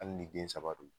Hali ni den saba don